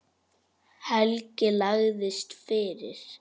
Helgi lagðist fyrir.